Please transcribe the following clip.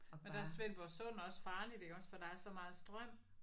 Men der er Svendborg Sund også farligt iggås for der er så meget strøm